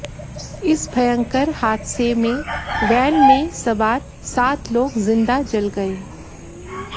इस भयंकर हादसे में वैन में सवार सात लोग जिंदा जल गए